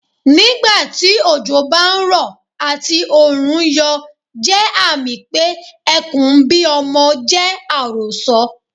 Nígbà tí òjò bá ń rọ̀ àti Òòrùn ń yọ jẹ́ àmì pé Ẹkùn ń bí ọmọ jẹ́ àròsọ.